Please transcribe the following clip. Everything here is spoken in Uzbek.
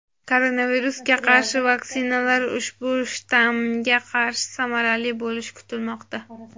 koronavirusga qarshi vaksinalar ushbu shtammga qarshi samarali bo‘lishi kutilmoqda.